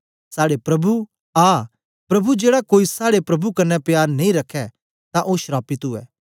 साड़े प्रभु आ प्रभु जेड़ा कोई साड़े प्रभु कन्ने प्यार नेई रखै तां ओ श्रापित उवै